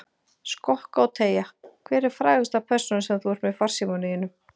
Skokka og teygja Hver er frægasta persónan sem þú ert með í farsímanum þínum?